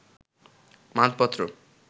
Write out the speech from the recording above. মানপত্র